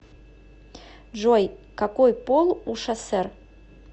джой какой пол у шасер